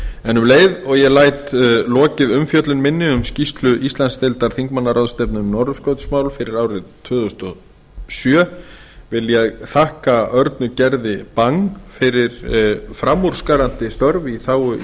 en um leið og ég læt lokið umfjöllun minni um skýrslu íslandsdeildar þingmannaráðstefnu um norðurskautsmál fyrir árið tvö þúsund og sjö vil ég þakka örnu gerði bang fyrir framúrskarandi störf í þágu